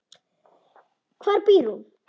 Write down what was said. Hvar býr hún?